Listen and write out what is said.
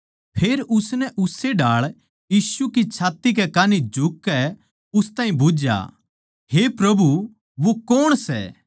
फेर उसनै उस्से ढाळ यीशु की छात्ती कै कान्ही झुककै उस ताहीं बुझ्झया हे प्रभु वो कौण सै